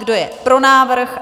Kdo je pro návrh?